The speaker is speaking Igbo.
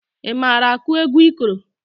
Ị mara akụ egwu ikoro?